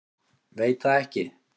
Veit það ekki.